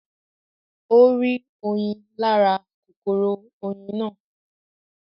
Ó rí oyin lára kòkòrò oyin náà